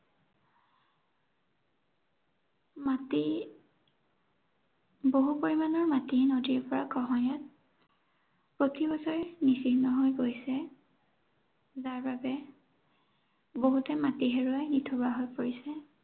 মাটি বহু পৰিমানৰ মাটি নদীৰ গৰাখহনীয়াত প্ৰতিবছৰে নিঃচিহ্ন হৈ গৈছে। যাৰ বাবে বহুতে মাটি হেৰুৱাই নিথৰুৱা হৈ পৰিছে।